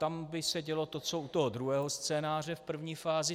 Tam by se dělo to, co u toho druhého scénáře v první fázi.